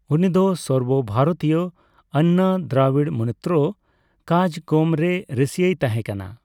ᱩᱱᱤ ᱫᱚ ᱥᱚᱨᱵᱚ ᱵᱷᱟᱨᱛᱤᱭᱚ ᱟᱱᱱᱟ ᱫᱨᱟᱵᱤᱲ ᱢᱩᱱᱮᱛᱨᱚ ᱠᱟᱡᱜᱚᱢᱨᱮᱭ ᱨᱟᱹᱥᱭᱟᱹᱭ ᱛᱟᱦᱮᱸᱠᱟᱱᱟ᱾